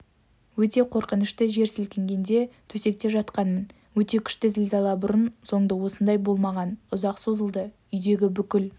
өте қорқынышты жер сілкінгенде төсекте жатқанмын өте күшті зілзала бұрын-соңды осындай болмаған ұзаққа созылды үйдегі бүкіл